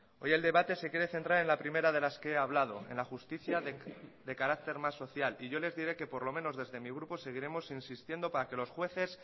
hoy el debate se quiere centrar en la primera de las que he hablado en la justicia de carácter más social y yo les diré que por lo menos desde mi grupo seguiremos insistiendo para que los jueces